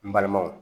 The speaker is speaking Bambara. N balimaw